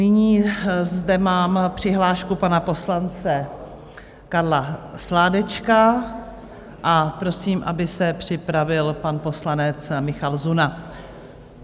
Nyní zde mám přihlášku pana poslance Karla Sládečka a prosím, aby se připravil pan poslanec Michal Zuna.